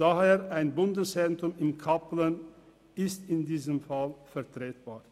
Daher ist in diesem Fall ein Bundeszentrum in Kappelen vertretbar.